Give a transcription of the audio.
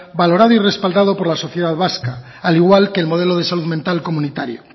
valorado y respaldado por la sociedad vasca al igual que el modelo de salud mental comunitario